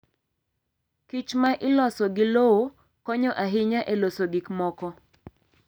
kichma iloso gi lowo konyo ahinya e loso gik moko.